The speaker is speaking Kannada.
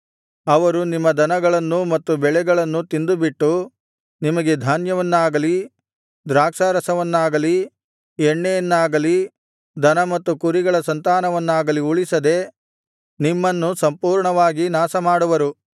ಅವರು ನಿಮ್ಮ ದನಗಳನ್ನೂ ಮತ್ತು ಬೆಳೆಗಳನ್ನೂ ತಿಂದುಬಿಟ್ಟು ನಿಮಗೆ ಧಾನ್ಯವನ್ನಾಗಲಿ ದ್ರಾಕ್ಷಾರಸವನ್ನಾಗಲಿ ಎಣ್ಣೆಯನ್ನಾಗಲಿ ದನ ಮತ್ತು ಕುರಿಗಳ ಸಂತಾನವನ್ನಾಗಲಿ ಉಳಿಸದೆ ನಿಮ್ಮನ್ನು ಸಂಪೂರ್ಣವಾಗಿ ನಾಶಮಾಡುವರು